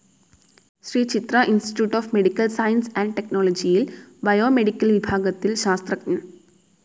Shri Chitra institute of medical sciences and ടെക്നോളജിയിൽ biomedical വിഭാഗത്തിൽ ശാസ്ത്രഞ്ജൻ.